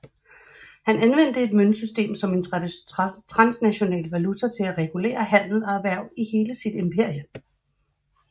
Han anvendte et møntsystem som en transnational valuta til at regulere handel og erhverv i hele sit imperium